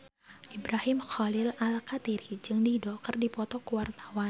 Ibrahim Khalil Alkatiri jeung Dido keur dipoto ku wartawan